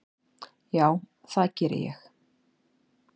Já, það geri ég.